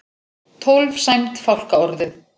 Tólf sæmd fálkaorðu